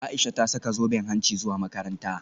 Aisha ta saka zoben hanci zuwa makaranta